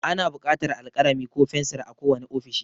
Ana buƙatar alkalami ko fensir a kowane ofishi.